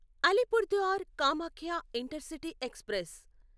Alipurduar Kamakhya intercity express